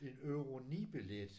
En euro 9 billet